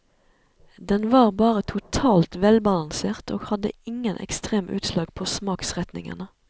Den var bare totalt velbalansert og hadde ingen ekstreme utslag på smaksretningene.